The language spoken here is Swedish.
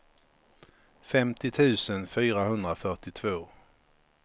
femtio tusen fyrahundrafyrtiotvå